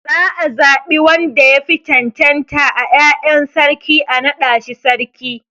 Za a zaɓi wanda yafi cancanta a 'ya'yan sarki a naɗa shi sarki.